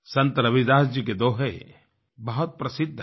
संत रविदास जी के दोहे बहुत प्रसिद्ध हैं